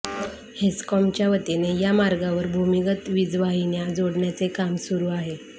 हेस्कॉमच्या वतीने या मार्गावर भुमिगत विजवाहिन्या जोडण्याचे काम सुरू आहे